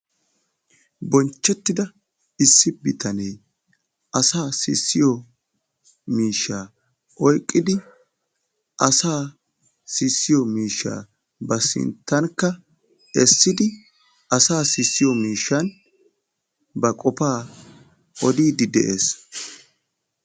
Bonchettida issi bitanee, asaa sissiyo miishshaa oyqqidi asaa sissiyo miishshaa ba sintankka essidi asaa sissiyo miishshan ba qofaa odiidi de'ees.